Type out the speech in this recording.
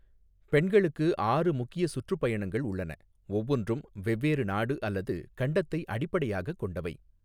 பெண்களுக்கு ஆறு முக்கிய சுற்றுப்பயணங்கள் உள்ளன, ஒவ்வொன்றும் வெவ்வேறு நாடு அல்லது கண்டத்தை அடிப்படையாகக் கொண்டவை.